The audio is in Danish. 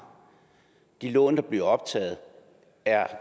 de lån der bliver optaget er